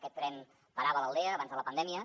aquest tren parava a l’aldea abans de la pandèmia